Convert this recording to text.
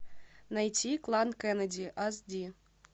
найти клан кеннеди ас ди